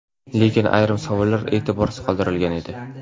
Lekin ayrim savollar e’tiborsiz qoldirilgan edi.